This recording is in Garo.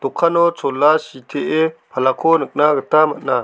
dokano chola sitee palako nikna gita man·a.